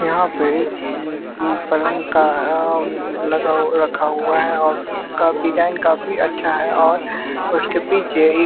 यहां पे उम्म उम्म पलंग का अह लगा रखा हुआ है और उसका डिजाइन काफी अच्छा है और उसके पीछे ही--